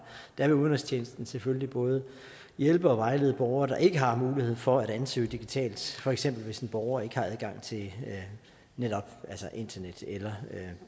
der vil udenrigstjenesten selvfølgelig både hjælpe og vejlede borgere der ikke har mulighed for at ansøge digitalt for eksempel hvis en borger ikke har adgang til netop internet eller